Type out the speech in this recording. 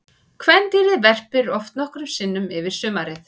Kvendýrið verpir oft nokkrum sinnum yfir sumarið.